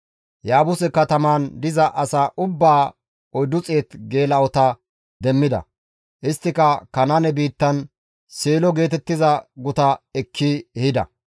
Yaabuse katamaan diza asaa ubbaa 400 geela7ota demmida; isttika Kanaane biittan, Seelo geetettiza guta ekki ehida.